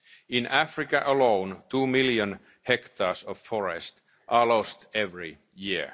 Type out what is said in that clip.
to plant more forests. In Africa alone, two million hectares of forest